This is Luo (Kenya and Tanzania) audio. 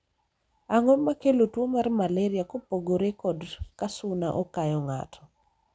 ang'o makelo tuo mar malaria kopogore kod ka suna okayo ng'ato?